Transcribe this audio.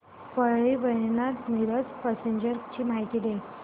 Parli Vaijnath Miraj passenger ची माहिती द्या